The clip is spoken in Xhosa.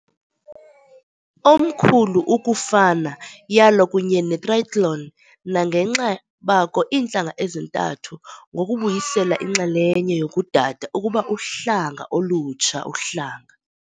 omkhulu ukufana yalo kunye netrayethloni, nangenxa bako iintlanga ezintathu, ngokubuyisela inxalenye yokudada ukuba uhlanga olutsha uhlanga.